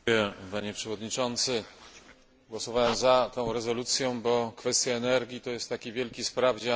Głosowałem za tą rezolucją, bo kwestia energii to jest taki wielki sprawdzian solidarności europejskiej.